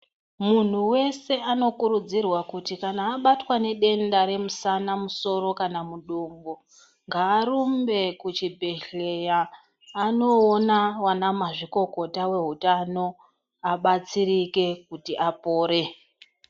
Munhu wese anokurudzirwa kuti kana abatwa nedenda remusana musoro kana mudumbu ngaarumbe kuchibhedhlera anoona anamazvikokota vezveutano abatsirike kuti apore.